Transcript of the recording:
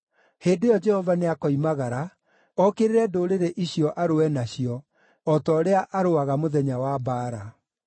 Hĩndĩ ĩyo Jehova nĩakoimagara, okĩrĩre ndũrĩrĩ icio arũe nacio, o ta ũrĩa arũaga mũthenya wa mbaara.